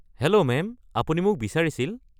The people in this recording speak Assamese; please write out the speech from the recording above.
হেল্ল' মেম, আপুনি মোক বিচাৰিছিল?